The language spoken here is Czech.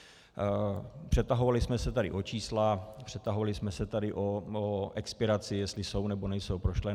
Přetahovali jsme se tady o čísla, přetahovali jsme se tady o expiraci, jestli jsou, nebo nejsou prošlé.